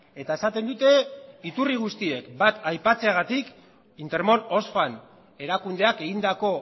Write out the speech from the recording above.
eta esaten dute iturri guztiek bat aipatzeagatik intermón oxfam erakundeak egindako